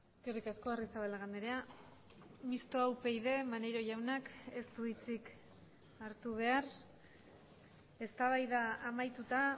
eskerrik asko arrizabalaga andrea mistoa upyd maneiro jaunak ez du hitzik hartu behar eztabaida amaituta